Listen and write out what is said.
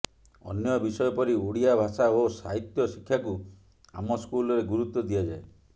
ଅନ୍ୟ ବିଷୟ ପରି ଓଡ଼ିଆ ଭାଷା ଓ ସାହିତ୍ୟ ଶିକ୍ଷାକୁ ଆମ ସ୍କୁଲରେ ଗୁରୁତ୍ୱ ଦିଆଯାଏ